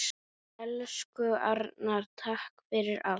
Elsku Arnar, takk fyrir allt.